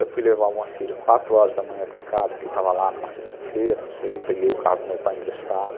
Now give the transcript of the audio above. Eu fui levar o Moacir quatro horas da manhã para casa, que ele estava lá numa sexta-feira, não sei, peguei o carro do meu pai emprestado.